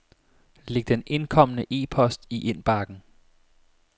Læg den indkomne e-post i indbakken.